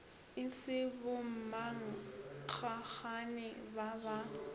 e se bommankgagane ba ba